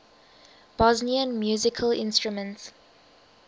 bosnian musical instruments